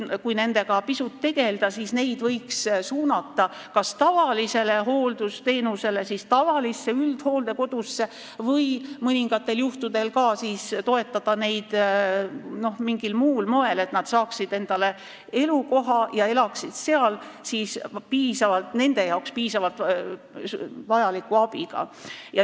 Kui nendega pisut tegelda, siis võiks neid suunata saama tavalist hooldusteenust tavalises üldhooldekodus, mõningatel juhtudel võiks neid toetada ka mingil muul moel, et nad saaksid endale elukoha ja elaksid seal nende jaoks piisava abiga.